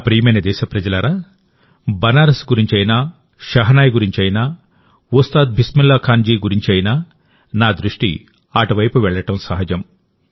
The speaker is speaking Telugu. నా ప్రియమైన దేశప్రజలారాబనారస్ గురించి అయినా షెహనాయ్ గురించి అయినా ఉస్తాద్ బిస్మిల్లా ఖాన్ జీ గురించి అయినా నా దృష్టి అటువైపు వెళ్ళడం సహజం